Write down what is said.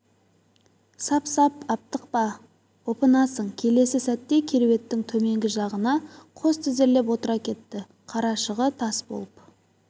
сап-сап аптықпа опынасың келесі сәтте кереуеттің төменгі жағына қос тізерлеп отыра кетті қарашығы тас болып